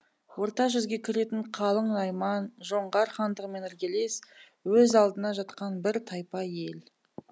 орта жүзге кіретін қалың найман жоңғар хандығымен іргелес өз алдына жатқан бір тайпа ел